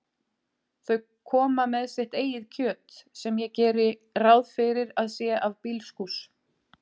Þau koma með sitt eigið kjöt, sem ég geri ráð fyrir að sé af bílskúrs